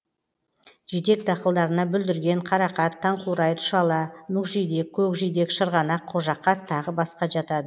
жидек дақылдарына бүлдірген қарақат таңқурай тұшала мүкжидек көкжидек шырғанақ қожақат тағы басқа жатады